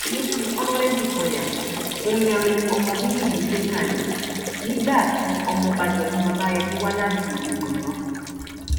ní ti ọnàrẹbù sanya omirin ọmọ bíbí ìlú iléṣà ni nígbà tí ọmọọba dọtún babayemí wá láti ìlú gbọngàn